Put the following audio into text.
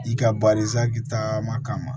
I ka taama kama